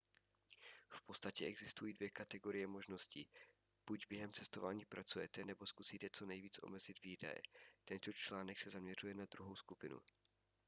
v podstatě existují dvě kategorie možností buď během cestování pracujete nebo zkusíte co nejvíc omezit výdaje tento článek se zaměřuje na druhou skupinu